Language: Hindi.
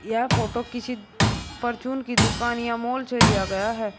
यह फोटो किसी परचून की दुकान या मॉल से लिया गया है।